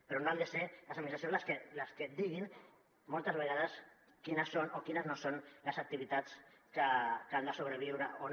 però no han de ser les administracions les que diguin moltes vegades quines són o quines no són les activitats que han de sobreviure o no